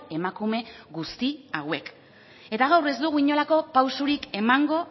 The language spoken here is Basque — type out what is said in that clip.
emakume guzti hauek eta gaur ez dugu inolako pausurik emango